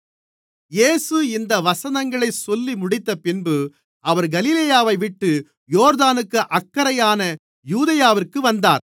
இயேசு இந்த வசனங்களைச் சொல்லிமுடித்தபின்பு அவர் கலிலேயாவைவிட்டு யோர்தானுக்கு அக்கரையான யூதேயாவிற்கு வந்தார்